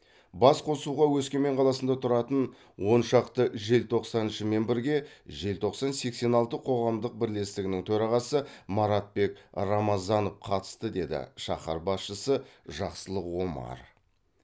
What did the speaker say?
басқосуға өскемен қаласында тұратын он шақты желтоқсаншымен бірге желтоқсан сексен алты қоғамдық бірлестігінің төрағасы маратбек рамазанов қатысты деді шаһар басшысы жақсылық омар